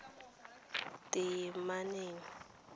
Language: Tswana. teemaneng